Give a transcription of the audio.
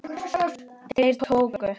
Þeir tóku